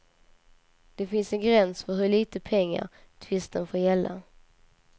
Det finns en gräns för hur lite pengar tvisten får gälla.